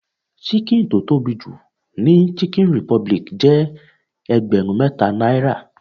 Ṣíkìn tó tóbi jù ní chicken republic jẹ́ ẹgbẹrun mẹta náírà.